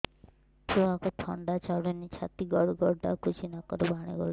ଛୁଆକୁ ଥଣ୍ଡା ଛାଡୁନି ଛାତି ଗଡ୍ ଗଡ୍ ଡାକୁଚି ନାକରୁ ପାଣି ଗଳୁଚି